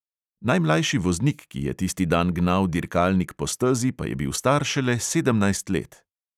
Najmlajši voznik, ki je tisti dan gnal dirkalnik po stezi, pa je bil star šele sedemnajst let.